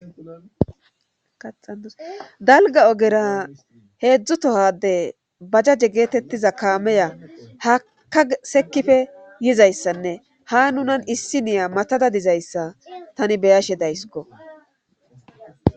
Axasdalga ogera heedzdzutohade bajjaje geetettiza kaameya haka sekife yizayssanne ha nunan issi niya matada dizayssa tani beyashe days go